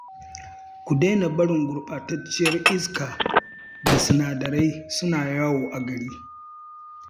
Ku daina barin gurɓatacciyar iska da sinadarai suna yawo a gari